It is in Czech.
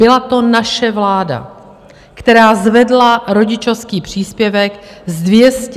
Byla to naše vláda, která zvedla rodičovský příspěvek z 220 na 300 tisíc.